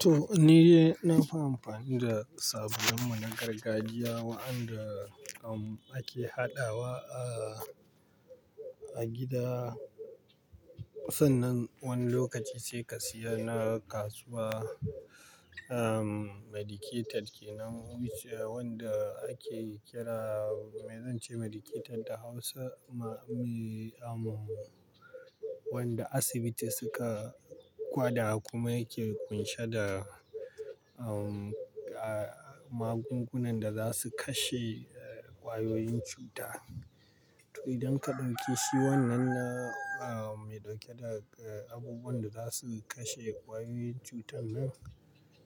To ni dai nafi amfani da sabulun na gargajiya waɗanda aka haɗa wa a gida. Sannan wani lokaci sai ka siya na kasuwa, um medicated kenan wanda ake kira, me zan ce medicated da Hausa? Ma-- um wanda asibiti suka gwada kuma yake ƙunshe da um, a magungunan da za su kashe ƙwayoyin cuta. To idan ka ɗinke shi wannan na um mai ɗauke da abubuwan da za su kashe ƙwayoyin cutan nan,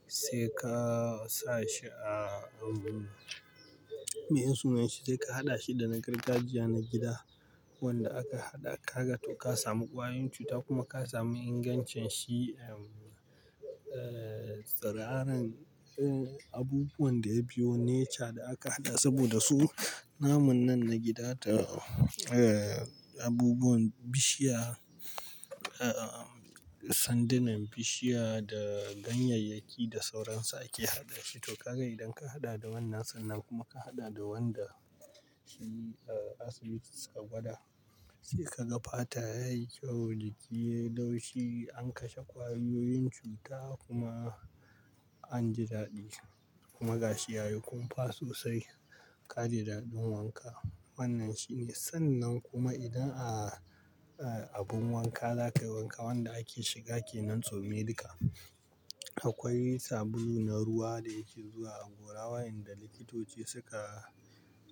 sai ka sa shi a um, mai sunnan shi? Sai ka haɗa shi da na gargajiya na gida wanda aka haɗa ka ga to ka samu ƙwayoyin cuta kuma ka samu ingancin shi um, eh tsiraran abubuwan da ya biyo nature da aka haɗa saboda su namun nan na gida da abubuwan bishiya, eh sandanan bishiya da ganyayyaki da sauransu ake haɗa shi. To ka ga idan ka haɗa da wannan sannan kuma ka haɗa da wanda shi asibiti suka gwada, sai ka ga fata yayi kyau, jiki yayi laushi, an kashe ƙwayoyin cuta kuma an ji daɗi kuma gashi ya yi kumfa sosai, ka ji daɗin wanka. Wannan shine sannan kuma idan a abin wanka za ka yi wanka wanda ake shiga kenan to medical, akwai sabulu na ruwa da yake zuwa a gora waɗanda likitoci suka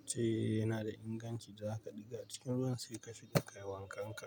ce yana da inganci, za ka ɗiga cikin ruwan sai ka shiga ka yi wankan ka.